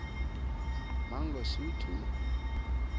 mangosuthu